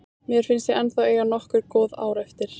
Mér finnst ég ennþá eiga nokkur góð ár eftir.